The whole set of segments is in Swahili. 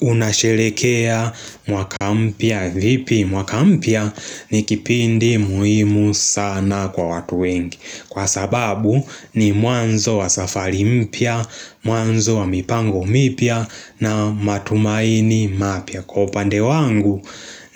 Unasherehekea mwaka mpya vipi mwaka mpya ni kipindi muhimu sana kwa watu wengi Kwa sababu ni mwanzo wa safari mpya, mwanzo wa mipango mipya na matumaini mapya Kwa upande wangu,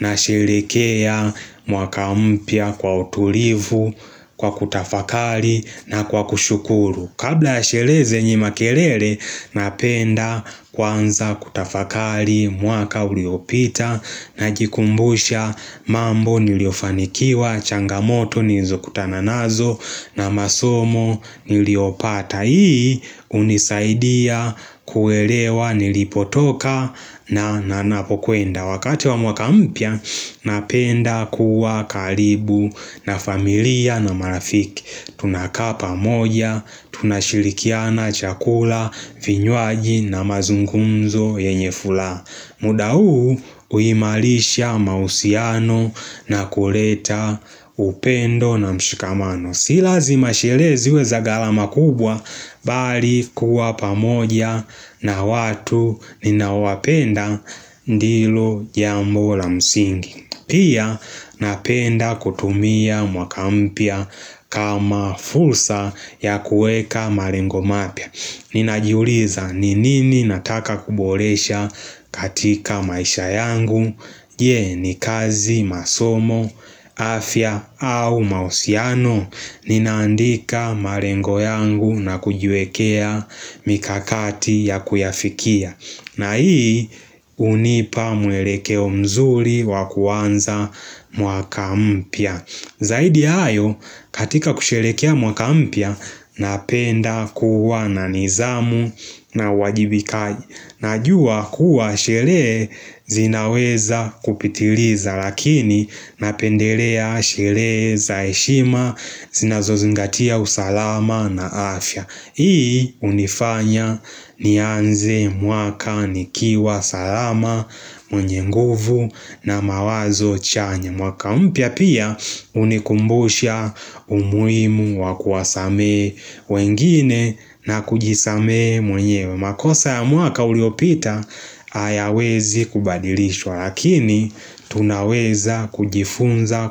nasherehekea mwaka mpya kwa utulivu, kwa kutafakari na kwa kushukuru. Kabla ya sherehe zenye makelele napenda kwanza kutafakari mwaka uliopita najikumbusha mambo niliofanikiwa changamoto nilizo kutana nazo na masomo niliopata hii hunisaidia kuelewa nilipotoka na napokwenda. Wakati wa mwaka mpya napenda kuwa karibu na familia na marafiki Tunakaa pamoja, tunashirikiana, chakula, vinywaji na mazungumzo yenye furaha muda huu huimarisha mahusiano na kuleta upendo na mshikamano Si lazima sherehe ziwe za gharama kubwa bali kuwa pamoja na watu ninaowapenda ndilo jambo la msingi. Pia, napenda kutumia mwaka mpya kama fursa ya kuweka marengo mapya. Ninajiuliza ni nini nataka kuboresha katika maisha yangu. Ye ni kazi masomo, afya au mahusiano? Ninaandika malengo yangu na kujiwekea mikakati ya kuyafikia. Na hii hunipa mwelekeo mzuri wakuanza mwaka mpya. Zaidi hayo katika kusherehekea mwaka mpya, Napenda kuwa na nidhamu na uwajibikaji. Najua kuwa sherehe zinaweza kupitiriza lakini napendelea sherehe za heshima zinazozingatia usalama na afya. Hii hunifanya nianze mwaka nikiwa salama. Mwenye nguvu na mawazo chanya. Mwaka mpya pia hunikumbusha umuhimu wakuwasamehe wengine na kujisamehe mwenyewe. Makosa ya mwaka uliopita, hayawezi kubadilishwa lakini tunaweza kujifunza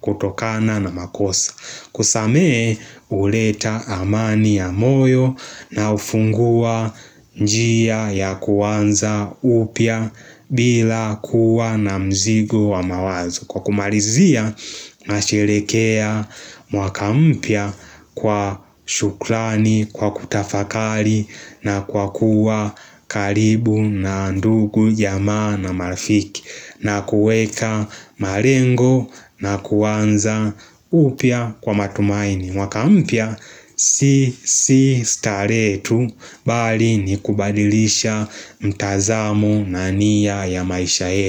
kutokana na makosa. Kusamehe huleta amani ya moyo na hufungua njia ya kuanza upya. Bila kuwa na mzigo wa mawazo. Kwa kumalizia na sherehekea mwaka mpya kwa shukrani, kwa kutafakari na kwa kuwa karibu na ndugu jamaa na marifiki na kuweka marengo na kuanza upya kwa matumaini. Mwaka mpya si si starehe tu bali nikubadilisha mtazamo na nia ya maisha yetu.